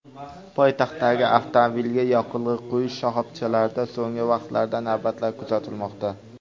Poytaxtdagi avtomobilga yoqilg‘i quyish shaxobchalarida so‘nggi vaqtlarda navbatlar kuzatilmoqda.